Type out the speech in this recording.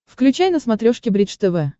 включай на смотрешке бридж тв